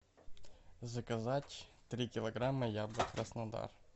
заказать три килограмма яблок краснодар